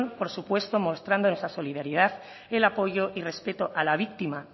por supuesto mostrando nuestra solidaridad el apoyo y respeto a la víctima